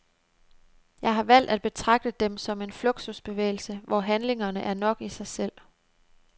Jeg har valgt at betragte dem som en fluxusbevægelse, hvor handlingerne er nok i sig selv.